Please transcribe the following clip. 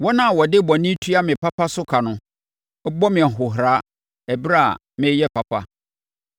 Wɔn a wɔde bɔne tua me papa so ka no bɔ me ahohora ɛberɛ a mereyɛ papa.